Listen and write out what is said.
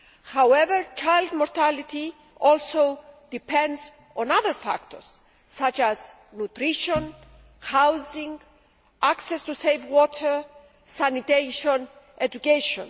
However, child mortality also depends on other factors such as nutrition, housing, access to safe water, sanitation and education.